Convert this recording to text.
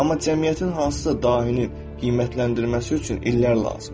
Amma cəmiyyətin hansısa dahini qiymətləndirməsi üçün illər lazımdır.